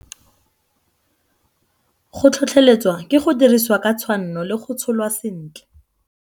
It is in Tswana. Go tlhotlheletswa ke go dirisiwa ka tshwanno le go tsholwa sentle.